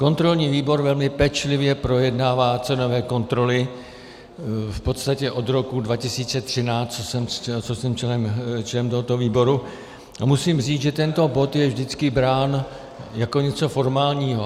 Kontrolní výbor velmi pečlivě projednává cenové kontroly v podstatě od roku 2013, co jsem členem tohoto výboru, a musím říct, že tento bod je vždycky brán jako něco formálního.